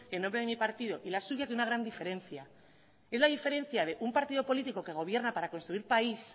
en nombre de mi partido y la suya tiene una gran diferencia es la diferencia de un partido político que gobierna para construir país